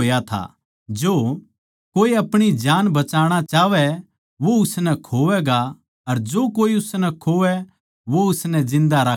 जो कोए अपणी जान बचाणा चाहवै वो उसनै खोवैगा अर जो कोए उसनै खोवै वो उसनै जिन्दा राक्खैगा